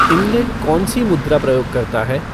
England कौन सी मुद्रा प्रयोग करता है